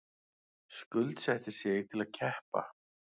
Skuldsetti sig til að keppa